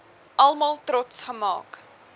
almal trots gemaak